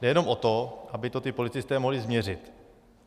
Jde jenom o to, aby to ti policisté mohli změřit.